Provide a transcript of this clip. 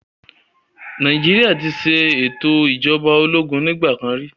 Nàìjíríà ti ṣe ètò ìjọba ológun ní ìgbà kan rí